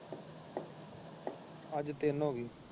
ਅੱਜ ਤਿੰਨ ਹੋ ਗਈ।